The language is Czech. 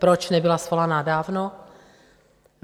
Proč nebyla svolaná dávno?